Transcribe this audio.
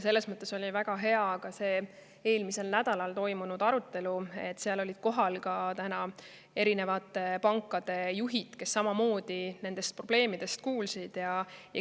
Selles mõttes oli väga hea, et eelmisel nädalal toimunud arutelul olid kohal ka erinevate pankade juhid, kes nendest probleemidest ka kuulsid.